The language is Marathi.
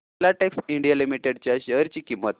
फिलाटेक्स इंडिया लिमिटेड च्या शेअर ची किंमत